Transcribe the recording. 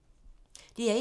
DR1